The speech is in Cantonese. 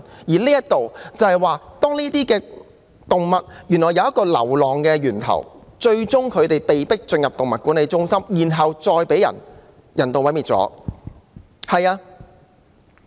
這些流浪動物來自一個源頭，牠們最終被送進動物管理中心，然後再被人道毀滅。